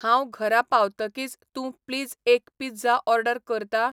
हांव घरा पावतकीच तूं प्लीज एक पिझ्झा ऑर्डर करता?